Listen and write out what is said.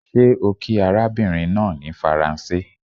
ṣe o kí arabinrin naa ni Faranse?